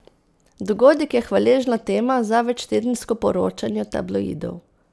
Dogodek je hvaležna tema za večtedensko poročanje tabloidov.